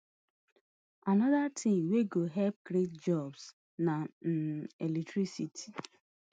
anoda tin wey go help create jobs na um electricity